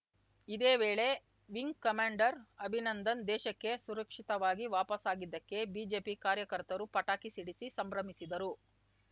ಇದೇ ವೇಳೆ wing commander Abhinandan ದೇಶಕ್ಕೆ ಸುರಕ್ಷಿತವಾಗಿ ವಾಪಸಾಗಿದ್ದಕ್ಕೆ ಬಿಜೆಪಿ ಕಾರ್ಯಕರ್ತರು ಪಟಾಕಿ ಸಿಡಿಸಿ ಸಂಭ್ರಮಿಸಿದರು